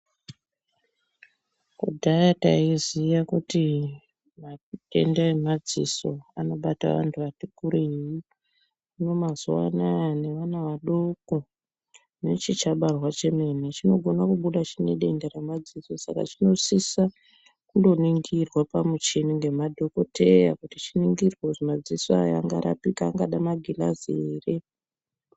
Kudhaya taiziya kuti matenda emadziso anobata vantu vati kurei hino mazuvaanaya nevana vadoko nechichabarwa chemene chinogona kubuda chinedenda remadziso saka chinosisa kuningirwa pamuchini ngemadhokodheya kuti chingada magirazi ere.